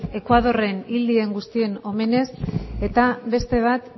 ekuadorren hil diren guztien omenez eta beste bat